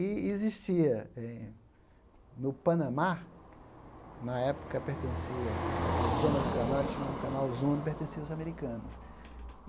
E existia eh no Panamá, na época pertencia à zona do canal, eles chamavam o canal Zona, e pertencia aos americanos.